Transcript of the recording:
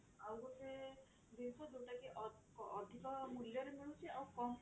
ଆଉ ଗୋଟେ ଜିନିଷ ଯୋଉ ଟା କି ଅ ଅଧିକ ମୂଲ୍ଯରେ ମିଳୁଛି ଆଉ କମ ପରିମାଣରେ